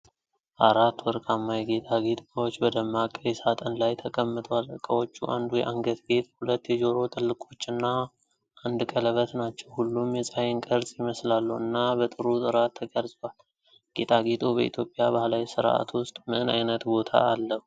አራት ወርቃማ የጌጣጌጥ ዕቃዎች በደማቅ ቀይ ሣጥን ላይ ተቀምጠዋል። ዕቃዎቹ አንዱ የአንገት ጌጥ፣ ሁለት የጆሮ ጥልቆች እና አንድ ቀለበት ናቸው። ሁሉም የፀሐይን ቅርፅ ይመስላሉ እና በጥሩ ጥራት ተቀርጸዋል። ጌጣጌጡ በኢትዮጵያ ባሕላዊ ሥርዓት ውስጥ ምን ዓይነት ቦታ አለው?